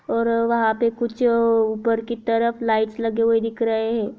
और वहाँ पे कुछ ऊपर की तरफ लाइट्स हुए दिख रहे है।